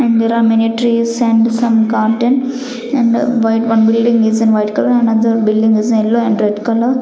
and there are many trees and the some garden and white one building is in white colour another building is yellow and red colour.